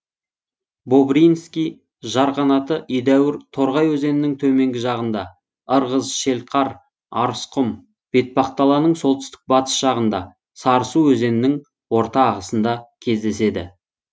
бобринский жарқанаты едәуір торғай өзенінің төменгі жағында ырғыз шелқар арысқұм бетпақдаланың солтүстік батыс жағында сарысу өзенінің орта ағысында кездеседі